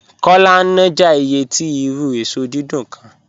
Kọ́lá ń náàjà ìyẹ̀ tì irù èṣọ́ dídùn kán